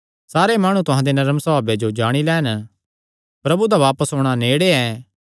सारे माणु तुहां दे नरम सभावे जो जाणी लैन प्रभु दा बापस औणां नेड़े ऐ